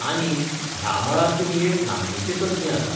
आनी, ह्या मळार तुमी एक नामनेचे तज्ञ आसात.